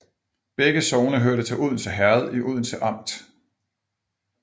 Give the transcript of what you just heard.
Begge sogne hørte til Odense Herred i Odense Amt